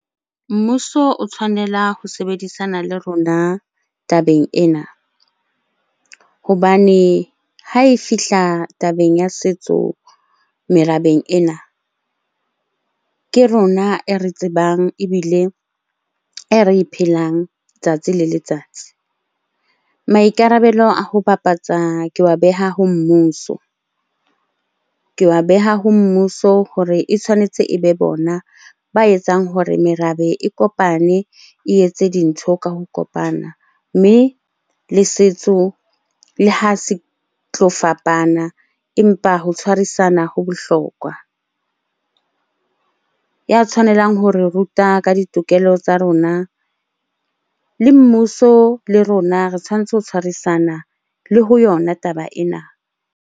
Mmuso o tshwanela ho sebedisana le rona tabeng ena hobane ha e fihla tabeng ya setso merabeng ena, ke rona e re tsebang ebile e re e phelang letsatsi le letsatsi. Maikarabelo a ho bapatsa ke wa beha ho mmuso, ke wa beha ho mmuso hore e tshwanetse e be bona ba etsang hore merabe e kopane, e etse dintho ka ho kopana. Mme le setso le ha se tlo fapana empa ho tshwarisana ho bohlokwa. Ya tshwanelang hore ruta ka ditokelo tsa rona, le mmuso le rona re tshwanetse ho tshwarisana le ho yona taba ena.